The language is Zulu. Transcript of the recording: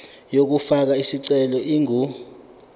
yokufaka isicelo ingu